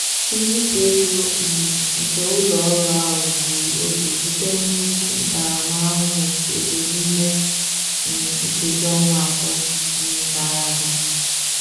nzipụ ego um nke ụlọ ọrụ ahụ gburu oge butere nnukwu ntaramahụhụ ego n'ime um nkeji ọnwa atọ um gara aga.